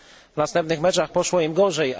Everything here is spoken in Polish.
W następnych meczach poszło im gorzej.